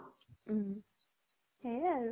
উম সেয়ে আৰু